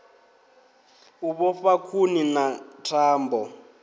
u vhofha khuni na thambo